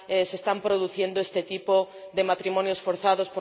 se están produciendo este tipo de matrimonios forzados.